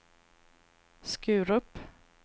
Skurup